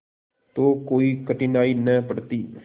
तो कोई कठिनाई न पड़ती